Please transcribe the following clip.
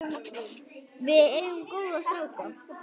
Við eigum góða stráka.